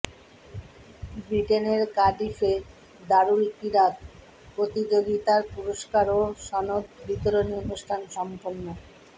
বৃটেনের কার্ডিফে দারুল কিরাত প্রতিযোগিতার পুরস্কার ও সনদ বিতরণী অনুষ্ঠান সম্পন্ন